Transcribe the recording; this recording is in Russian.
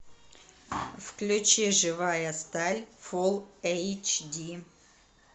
включи живая сталь фулл эйч ди